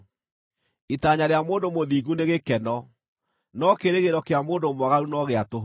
Itanya rĩa mũndũ mũthingu nĩ gĩkeno, no kĩĩrĩgĩrĩro kĩa mũndũ mwaganu no gĩa tũhũ.